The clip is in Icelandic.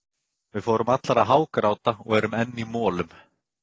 Við fórum allar að hágráta og erum enn í molum.